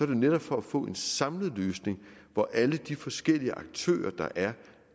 jo netop for at få en samlet løsning hvor alle de forskellige aktører der er